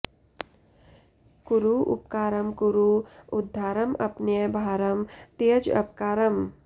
कुरु उपकारं कुरु उद्धारम् अपनय भारं त्यज अपकारम्